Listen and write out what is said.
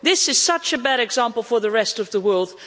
This is such a bad example for the rest of the world.